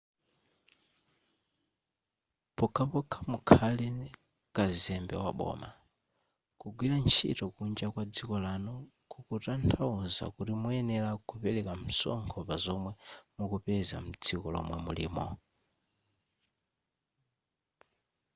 pokhapokha mukhale kazembe waboma kugwira ntchito kunja kwa dziko lanu kukutanthauza kuti muyenera kupereka msonkho pazomwe mukupeza mdziko lomwe mulimo